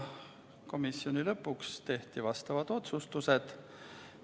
Komisjoni istungi lõpuks tehti menetluslikud otsused.